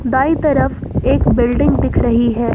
दाई तरफ एक बिल्डिंग दिख रही है।